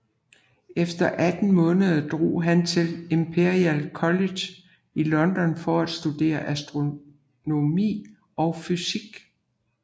Efter 18 måneder drog han til Imperial College i London for at studere astronomi og fysik